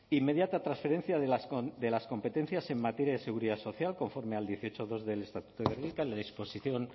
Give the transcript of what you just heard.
inmediata transferencia de las competencias en materia de seguridad social conforme al dieciocho punto dos del estatuto de gernika yla disposición